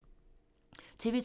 TV 2